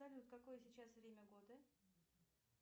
салют какое сейчас время года